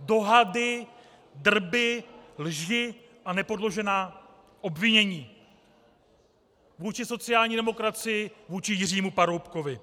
dohady, drby, lži a nepodložená obvinění vůči sociální demokracii, vůči Jiřímu Paroubkovi.